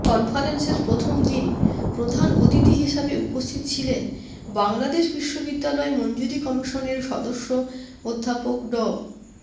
কনফারেন্সের প্রথম দিন প্রধান অতিথি হিসাবে উপস্থিত ছিলেন বাংলাদেশ বিশ্ববিদ্যালয় মঞ্জুরি কমিশনের সদস্য অধ্যাপক ড